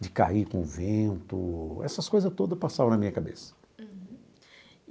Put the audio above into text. de cair com o vento, essas coisas todas passavam na minha cabeça. Uhum.